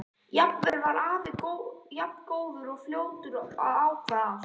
Alltaf var afi jafn góður og fljótur að ákveða allt.